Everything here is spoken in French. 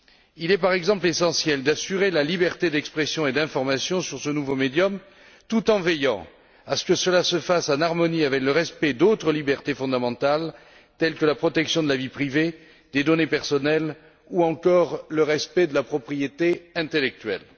Il est, par exemple, essentiel d'assurer la liberté d'expression et d'information sur ce nouveau média, tout en veillant à ce que cela se fasse en harmonie avec le respect d'autres libertés fondamentales, telles que la protection de la vie privée, des données personnelles ou encore le respect de la propriété intellectuelle.